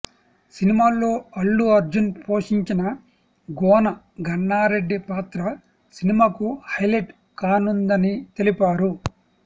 సినిమాలో అల్లు అర్జున్ పోషించిన గోన గన్నారెడ్డి పాత్ర సినిమాకు హైలెట్ కానుందని తెలిపారు